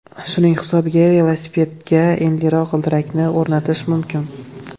Shuning hisobiga velosipedga enliroq g‘ildiraklarni o‘rnatish mumkin.